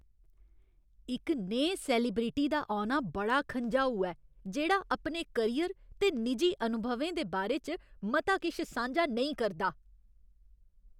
इक नेहे सैलेब्रिटी दा औना बड़ा खंझाऊ ऐ जेह्ड़ा अपने करियर ते निजी अनुभवें दे बारे च मता किश सांझा नेईं करदा ।